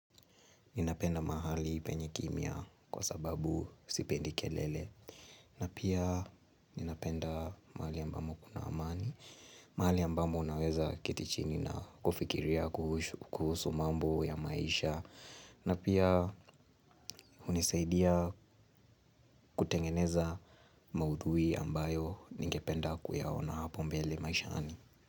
Ninapenda mahali penye kimia kwa sababu sipendi kelele. Na pia ninapenda mahali ambamo kuna amani. Mahali ambamo unaweza keti chini na kufikiria kuhusu mambo ya maisha. Na pia hunisaidia kutengeneza maudhui ambayo ningependa kuyaona hapo mbele maishaani.